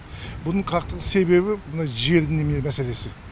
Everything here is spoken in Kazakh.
бұның қақтығыс себебі мына жердің немене мәселесі